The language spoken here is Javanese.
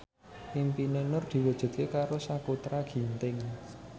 impine Nur diwujudke karo Sakutra Ginting